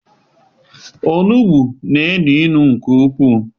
Onugbu na-enu inu nke ukwu,